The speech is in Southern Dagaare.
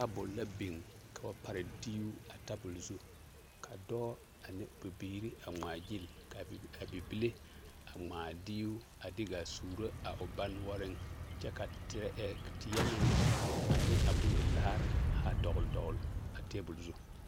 Tabul la biŋ ka ba pare diibo ka dɔɔ ane bibiiri a ŋmaaɡyili ka a bibile ŋmaa a diibo a te su a dɔɔ kyɛ ka teɛ meŋ ne a bondilaare ha dɔɡeledɔɡele a teebul zu.